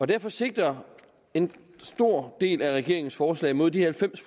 derfor sigter en stor del af regeringens forslag mod de halvfems